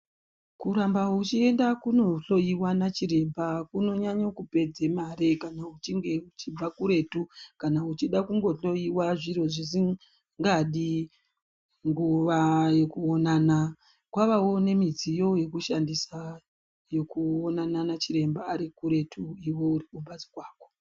Kuramba uchienda kunohlowiwa nachiremba kunonyanye kupedza mare kana uchinge uchibva kuretu. Kana uchida kungohlowiwa zviro zvisingadi nguwa yekuonana kwavavo nemidziyo yekushandisa yekuonana nachiremba ari kuretu iwe uri pambatso pako.